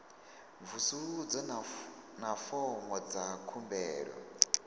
mvusuludzo na fomo dza khumbelo